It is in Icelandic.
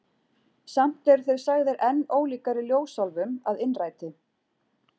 Samt eru þeir sagðir enn ólíkari ljósálfum að innræti.